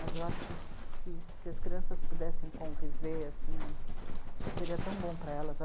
Mas eu acho que se, que se as crianças pudessem conviver assim, acho que seria tão bom para elas.